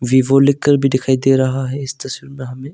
Vivo लिखकर भी दिखाई दे रहा है इस तस्वीर में हमें।